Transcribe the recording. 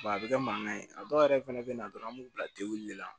a bɛ kɛ mankan ye a dɔw yɛrɛ fana bɛ na dɔrɔn an b'u bila tewu de la